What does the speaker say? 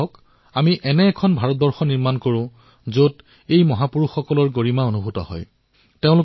আহক আমি সকলোৱে লগ হৈ এনে এক ভাৰতৰ নিৰ্মাণ কৰো যত এই মহাপুৰুষসকলৰ গৰ্ব অনুভূত হওক